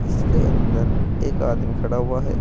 इसके अंदर एक आदमी खड़ा हुआ है।